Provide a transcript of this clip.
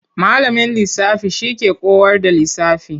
Malamin lisafi shi ke kowar da lisafi.